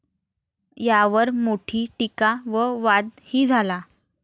यावर मोठी टिका व वाद ही झाला.